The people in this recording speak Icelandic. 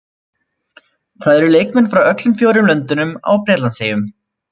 Það eru leikmenn frá öllum fjórum löndunum á Bretlandseyjum.